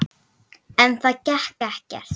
En það gekk ekkert.